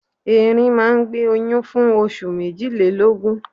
Ẹrin máa ń gbé oyún fún oṣù méjìlélọ́gun.